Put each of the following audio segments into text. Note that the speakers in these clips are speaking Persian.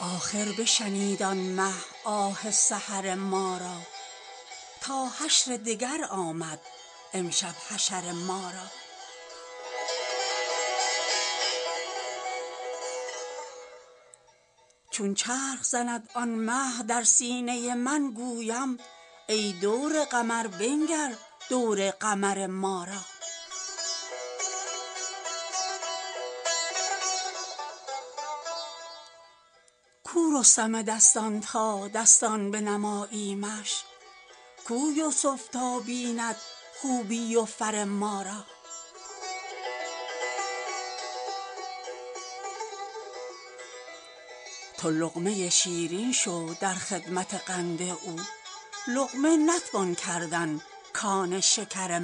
آخر بشنید آن مه آه سحر ما را تا حشر دگر آمد امشب حشر ما را چون چرخ زند آن مه در سینه من گویم ای دور قمر بنگر دور قمر ما را کو رستم دستان تا دستان بنماییمش کو یوسف تا بیند خوبی و فر ما را تو لقمه شیرین شو در خدمت قند او لقمه نتوان کردن کان شکر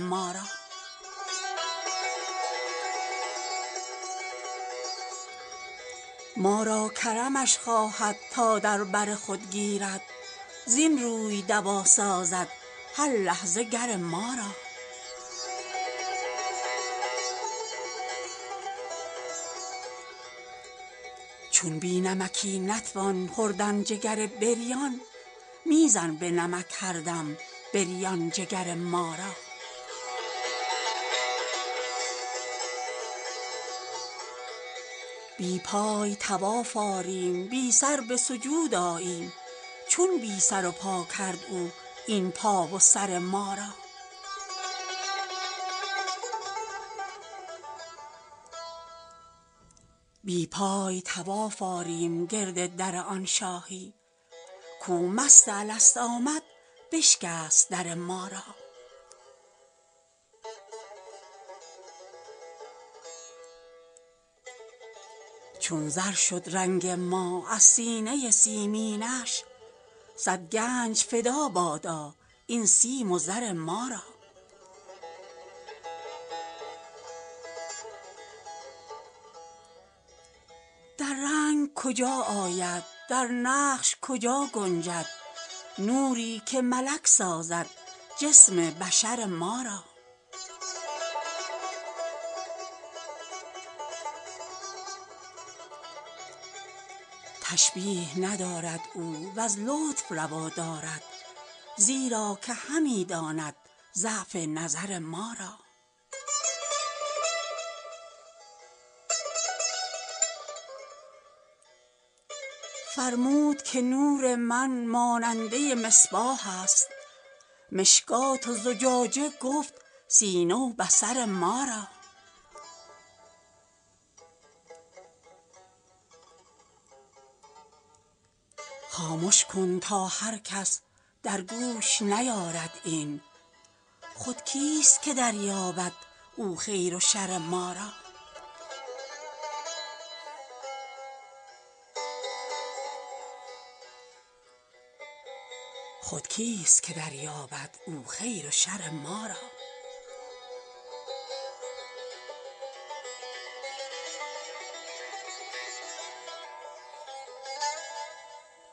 ما را ما را کرمش خواهد تا در بر خود گیرد زین روی دوا سازد هر لحظه گر ما را چون بی نمکی نتوان خوردن جگر بریان می زن به نمک هر دم بریان جگر ما را بی پای طواف آریم بی سر به سجود آییم چون بی سر و پا کرد او این پا و سر ما را بی پای طواف آریم گرد در آن شاهی کو مست الست آمد بشکست در ما را چون زر شد رنگ ما از سینه سیمینش صد گنج فدا بادا این سیم و زر ما را در رنگ کجا آید در نقش کجا گنجد نوری که ملک سازد جسم بشر ما را تشبیه ندارد او وز لطف روا دارد زیرا که همی داند ضعف نظر ما را فرمود که نور من ماننده مصباح است مشکات و زجاجه گفت سینه و بصر ما را خامش کن تا هر کس در گوش نیارد این خود کیست که دریابد او خیر و شر ما را